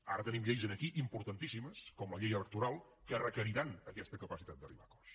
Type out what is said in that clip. ara tenim lleis aquí importantíssimes com la llei electoral que requeriran aquesta capacitat d’arribar a acords